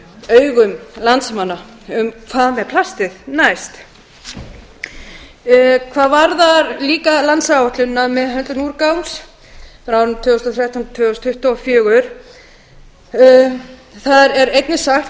augum landsmanna um hvað með plastið næst hvað varðar líka landsáætluninni um meðhöndlun úrgangs frá árinu tvö þúsund og þrettán til tvö þúsund tuttugu og fjögur þar er einnig sagt með